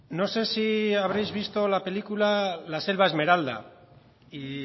no sé si habréis visto la película la selva esmeralda y